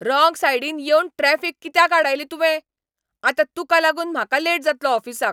Wrong सायडीन येवन traffic कित्याक आडायली तुवें? आतां तुका लागून म्हाका लेट जातलो ऑफिसाक.